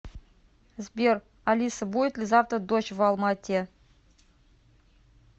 сбер алиса будет ли завтра дождь в алма ате